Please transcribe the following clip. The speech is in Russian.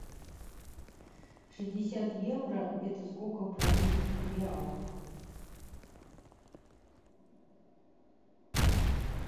шестьдесят евро это сколько в бразильских реалах